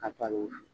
Ka taa ni